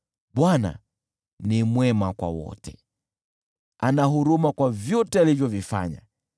Bwana ni mwema kwa wote, ana huruma kwa vyote alivyovifanya.